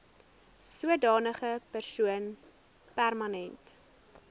sodanige persoon permanent